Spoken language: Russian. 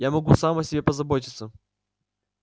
я могу сам о себе позаботиться